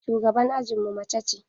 Shugaban ajinmu mace ce.